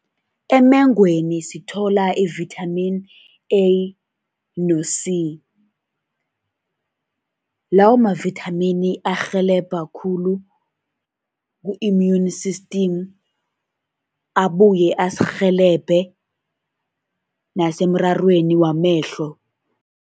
Emengweni sithola i-vitamin A no-C, lawo mavithamini arhelebha khulu ku-immune system, abuye asirhelebhe nasemrarweni wamehlo.